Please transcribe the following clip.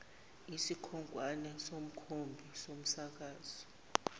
isikhonkwane somkhumbi somsakazo